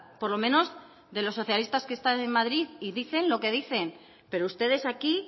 por lo menos de los socialistas que están en madrid y dicen lo que dicen pero ustedes aquí